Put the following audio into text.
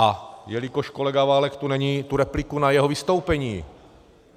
A jelikož kolega Válek tu není, tu repliku na jeho vystoupení.